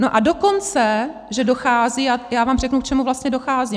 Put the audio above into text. No a dokonce že dochází - já vám řeknu, k čemu vlastně dochází.